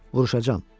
Vuruşacam.